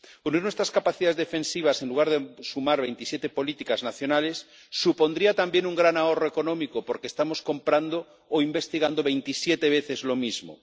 Unir nuestras capacidades defensivas en lugar de sumar veintisiete políticas nacionales supondría también un gran ahorro económico, porque estamos comprando o investigando veintisiete veces lo mismo.